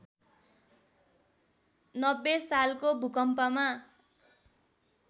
९० सालको भूकम्पमा